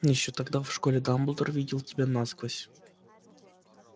ещё тогда в школе дамблдор видел тебя насквозь